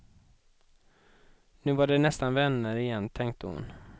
Nu var de nästan vänner igen, tänkte hon.